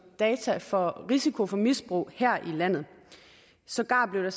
data for risiko for misbrug her i landet sågar blev